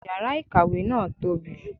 Yàrà ìkàwé náà tóbi